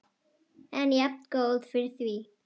En jafngóð fyrir því!